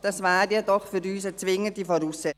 Dies wäre jedoch für uns eine zwingende Voraussetzung.